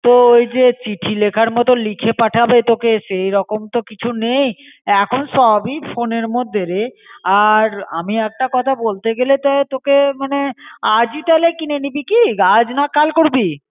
তো ওইজে চিঠি লিখার মতো লিখে পাঠাবে তোকে সেরকম তো কিছু নেই. এখন সবই ফোনের মধ্যেরে. আর আমি একটা কোথা বলতে গেলে তাই তোকে মনে আজই তাহলে কিনে নিবি কী? আজ না কাল করবি?